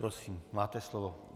Prosím, máte slovo.